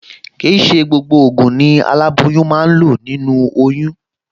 Kì í ṣe gbogbo ògùn ni aláboyún máa ń lò nínú oyún